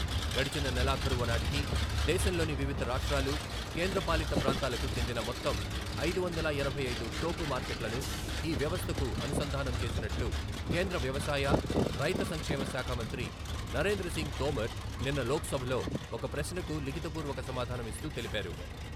గడచిన నెలాఖరు ఓ నాటికి దేశంలోని వివిధ రాష్ట్రాలు, కేంద్రపాలిత ప్రాంతాలకు చెందిన మొత్తం ఐదు వందల ఎనభై ఐదు టోకు మార్కెట్లను ఈ వ్యవస్థకు అనుసంధానం చేసినట్లు కేంద్ర వ్యవసాయ, రైతు సంక్షేమ శాఖ మంత్రి నరేంద్రసింగ్ తోమర్ నిన్న లోక్సభలో ఒక ప్రశ్నకు లిఖిత పూర్వక సమాధానం ఇస్తూ తెలిపారు.